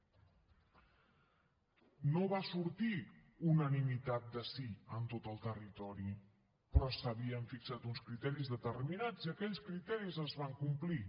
no va sortir unanimitat de sí en tot el territori però s’havien fixat uns criteris determinats i aquells criteris es van complir